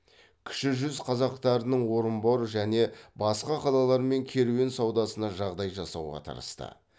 кіші жүз қазақтарының орынбор және басқа қалалармен керуен саудасына жағдай жасауға тырысты